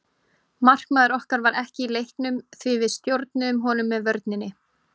Markmaður okkar var ekki í leiknum því við stjórnuðum honum með vörninni.